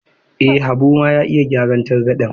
Eh, Habu ma ya iya gyaran targaɗen.